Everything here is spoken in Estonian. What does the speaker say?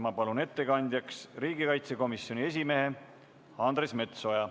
Ma palun ettekandjaks riigikaitsekomisjoni esimehe Andres Metsoja.